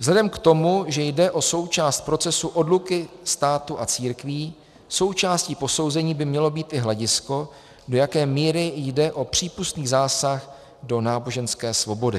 Vzhledem k tomu, že jde o součást procesu odluky státu a církví, součástí posouzení by mělo být i hledisko, do jaké míry jde o přípustný zásah do náboženské svobody.